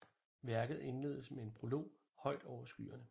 Værket indledes med en prolog højt over skyerne